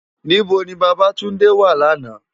Nibó ni Babatunde wá làná?